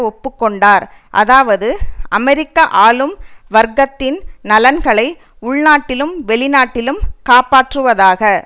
ஒப்பு கொண்டார் அதாவது அமெரிக்க ஆளும் வர்க்கத்தின் நலன்களை உள்நாட்டிலும் வெளிநாட்டிலும் காப்பாற்றுவதாக